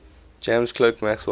james clerk maxwell